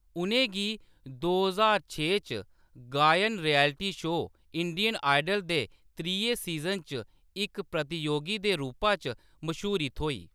उʼनें गी दो ज्हार छे च गायन रियैलिटी शो इंडियन आइडल दे त्रिये सीज़न च इक प्रतियोगी दे रूपा च मश्हूरी थ्होई ।